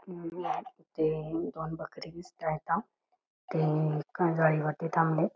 इथे दोन बकऱ्या आहेत ते थांबलेत.